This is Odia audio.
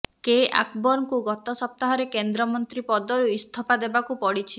କେ ଆକବରଙ୍କୁ ଗତ ସପ୍ତାହରେ କେନ୍ଦ୍ରମନ୍ତ୍ରୀ ପଦରୁ ଇସ୍ତଫା ଦେବାକୁ ପଡିଛି